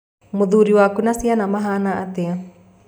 Mũthuri waku na ciana mahana atĩa?